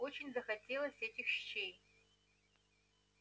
очень захотелось этих щей